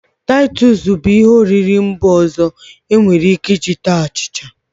Titus bu ihe oriri mba ọzọ enwere Ike iji taa achicha.